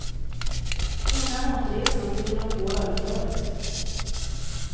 Innan återresan fyllde de på ölförrådet.